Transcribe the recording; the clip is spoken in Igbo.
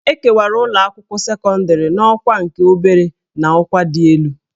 E kewara ụlọakwụkwọ sekọndịrị n'ọkwa nke obere na ọkwa dị elu